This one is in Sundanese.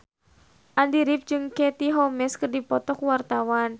Andy rif jeung Katie Holmes keur dipoto ku wartawan